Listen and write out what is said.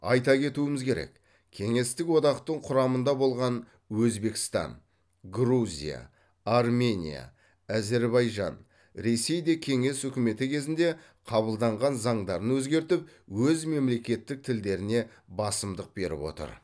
айта кетуіміз керек кеңестік одақтың құрамында болған өзбекстан грузия армения әзербайжан ресей де кеңес үкіметі кезінде қабылданған заңдарын өзгертіп өз мемлекеттік тілдеріне басымдық беріп отыр